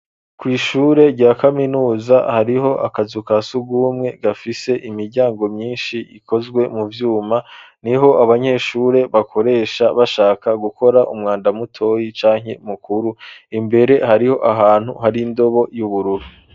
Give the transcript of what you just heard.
Kw'ishure rya kaminuza hariho akazu ka sugumwe gafise imiryango myinshi ikozwe mu vyuma niho abanyeshure bakoresha bashaka gukora umwanda mutoyi canke mukuru imbere hariho ahantu hari indobo y'ubururu.